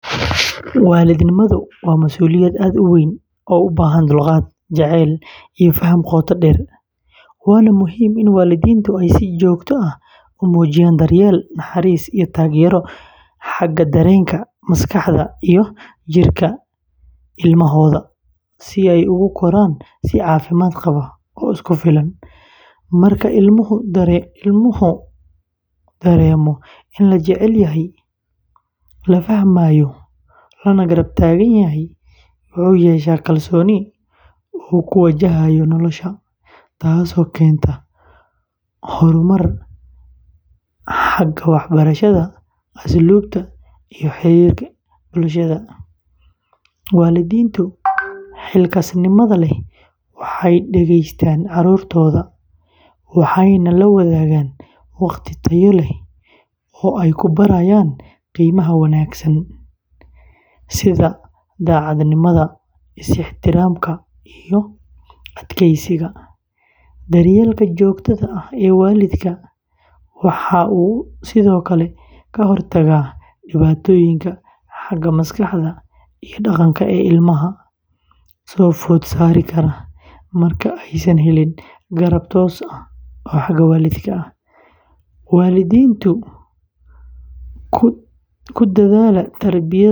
Waalidnimadu waa masuuliyad aad u weyn oo u baahan dulqaad, jacayl, iyo faham qoto dheer, waana muhiim in waalidiintu ay si joogto ah u muujiyaan daryeel, naxariis, iyo taageero xagga dareenka, maskaxda, iyo jirka ilmahooda si ay ugu koraan si caafimaad qaba oo isku filan. Marka ilmuhu dareemo in la jecel yahay, la fahmayo, lana garab taagan yahay, wuxuu yeeshaa kalsooni uu ku wajahayo nolosha, taasoo keenta horumar xagga waxbarashada, asluubta, iyo xiriirka bulshada. Waalidiinta xilkasnimada leh waxay dhegeystaan caruurtooda, waxayna la wadaagaan waqti tayo leh oo ay ku barayaan qiimaha wanaagsan sida daacadnimada, is-ixtiraamka, iyo adkeysiga. Daryeelka joogtada ah ee waalidka waxa uu sidoo kale ka hortagaa dhibaatooyinka xagga maskaxda iyo dhaqanka ee ilmaha soo food saari kara marka aysan helin garab toos ah oo xagga waalidka ah. Waalidiinta ku dadaala tarbiyadda wanaagsan.